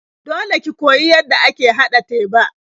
Dole ki koyi yadda ake haɗa teba.